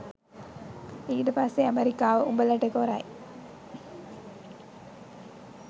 ඊට පස්සෙ ඇමරිකාව උඹලට කොරයි